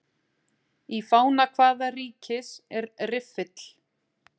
Í fána hvaða ríkis er riffill?